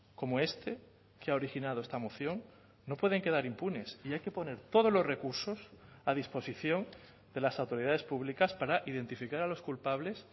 como este que ha originado esta moción no pueden quedar impunes y hay que poner todos los recursos a disposición de las autoridades públicas para identificar a los culpables